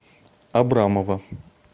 абрамова